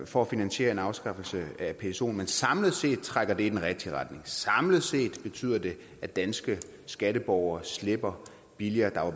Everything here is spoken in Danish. for at finansiere en afskaffelse af psoen men samlet set trækker det i den rigtige retning samlet set betyder det at danske skatteborgere slipper billigere der er